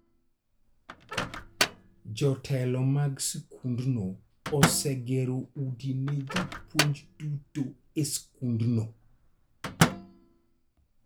Jotelo mag skundno osegero udi ne jopuonj duto e skundno.